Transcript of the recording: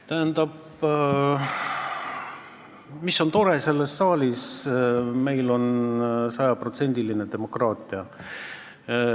Tähendab, selles saalis on tore see, et meil on sajaprotsendiline demokraatia.